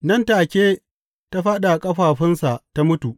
Nan take ta fāɗi a ƙafafunsa ta mutu.